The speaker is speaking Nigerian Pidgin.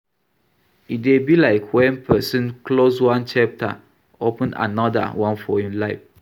E dey be like when person close one chapter, open anoda one for im life